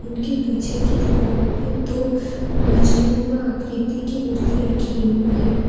इनके पीछे की दिवाल पे दो मछली नुमा आकृति की मूर्ति रखी हुई है।